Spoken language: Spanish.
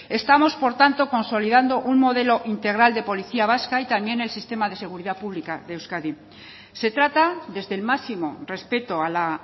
estamos por tanto consolidando un modelo integral de policía vasca y también el sistema de seguridad pública de euskadi se trata desde el máximo respeto a la